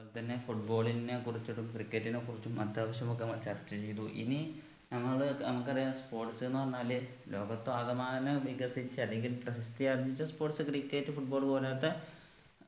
അതുപോലെതന്നെ football നെ കുറിച്ചിട്ടും cricket നെ കുറിച്ചും അത്യാവശ്യം ഒക്കെ ചർച്ച ചെയ്തു ഇനി നമ്മള് നമ്മക്കറിയാം sports ന്ന് പറഞ്ഞാല് ലോകത്താകമാനം വികസിച്ച അല്ലെങ്കിൽ പ്രസിദ്ധി ആർജിച്ച sports cricket football പോലത്തെ